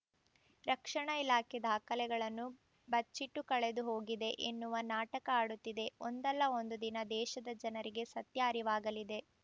ರಕ್ಷಣಾ ಇಲಾಖೆ ದಾಖಲೆಗಳನ್ನು ಬಚ್ಚಿಟ್ಟು ಕಳೆದುಹೋಗಿದೆ ಎನ್ನುವ ನಾಟಕ ಆಡುತ್ತಿದೆ ಒಂದಲ್ಲಾ ಒಂದು ದಿನ ದೇಶದ ಜನರಿಗೆ ಸತ್ಯ ಅರಿವಾಗಲಿದೆ